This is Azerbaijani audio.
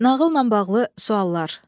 Nağılla bağlı suallar.